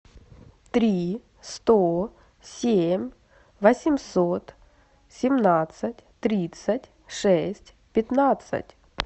три сто семь восемьсот семнадцать тридцать шесть пятнадцать